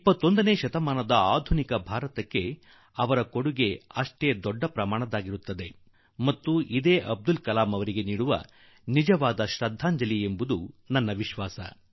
ಈ ನಿಟ್ಟಿನಲ್ಲಿ ನಮ್ಮ ಹೊಸ ಪೀಳಿಗೆ ಎಷ್ಟು ಕೆಲಸ ಮಾಡುತ್ತದೆಯೋ ಅವರ ಕೊಡುಗೆ ಎಷ್ಟು ಇರುತ್ತದೆಯೋ ಅದು 21ನೇ ಶತಮಾನದ ಆಧುನಿಕ ಭಾರತಕ್ಕೆ ಮಹತ್ವದ್ದಾಗುತ್ತದೆ ಮತ್ತು ಅದೇ ಅಬ್ದುಲ್ ಕಾಲಂ ಜೀ ಅವರಿಗೆ ನೈಜ ಶ್ರದ್ಧಾಂಜಲಿ ಆಗಲಿದೆ